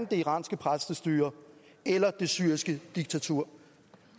det iranske præstestyre eller det syriske diktatur